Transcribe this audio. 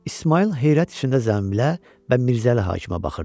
İsmayıl heyrət içində zənbilə və Mirzəli hakimə baxırdı.